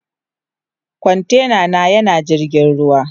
Kwantena na yana jirgin ruwa.